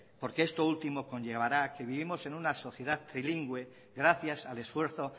porque esto último conllevará a que vivimos en una sociedad trilingüe gracias al esfuerzo